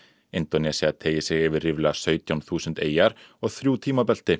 Indónesía teygir sig yfir ríflega sautján þúsund eyjar og þrjú tímabelti